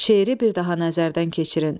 Şeiri bir daha nəzərdən keçirin.